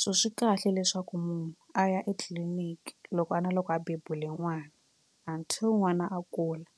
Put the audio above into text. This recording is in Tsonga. so swi kahle leswaku munhu a ya etliliniki loko a na loko a bebule n'wana until n'wana a kula.